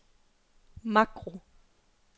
makro